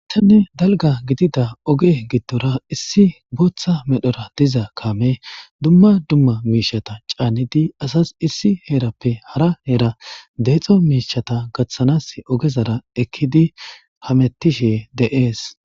athanne dalga gidida oge gidtora issi booththa medhora diza kame dumma dumma miishata caanidi asas issi heerappe hara heera deexo miishata gaththanas ogezara ekkidi hamettishe deees.